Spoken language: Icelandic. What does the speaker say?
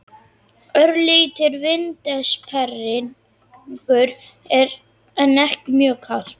Örlítill vindsperringur en ekki mjög kalt.